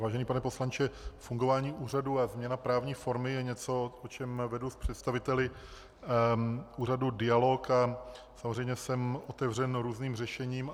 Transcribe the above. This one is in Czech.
Vážený pane poslanče, fungování úřadu a změna právní formy je něco, o čem vedu s představiteli úřadu dialog a samozřejmě jsem otevřen různým řešením.